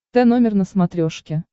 тномер на смотрешке